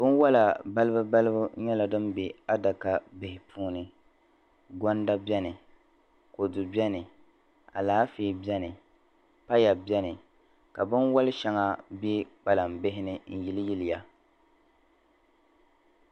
Bin wala balibu balibu nyɛla di be a daka bihini goŋda beni kodu beni alaafee beni paya beni ka bɛn wali shaŋa be kpalan bini nyili yiliya